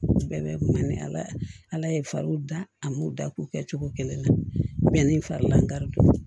Bɛɛ bɛ kun man di ala ye fariw da a m'u da k'u kɛ cogo kelen na mɛ ni fari lankari